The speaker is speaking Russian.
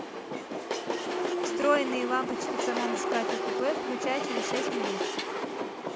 встроенные лампочки в самом шкафе купе включай через шесть минут